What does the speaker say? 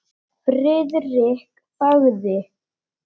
Friðrik þagði.